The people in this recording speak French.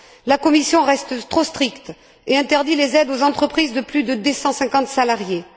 La Commission reste trop stricte et interdit les aides aux entreprises de plus de 250 salariés.